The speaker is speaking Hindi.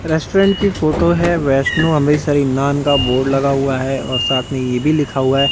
रेस्टोरेंट की फोटो है वैष्णु अमृतसर इन्नान का बोर्ड लगा हुआ है और साथ में ये भी लिखा हुआ है--